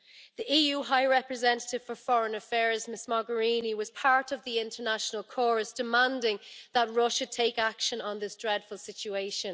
The EU High Representative for Foreign Affairs, Ms Mogherini, was part of the international chorus demanding that Russia take action on this dreadful situation.